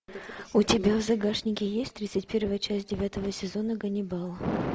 у тебя в загашнике есть тридцать первая часть девятого сезона ганнибал